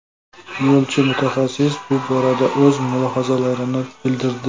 Yo‘lchi-mutaxassis bu borada o‘z mulohazalarini bildirdi .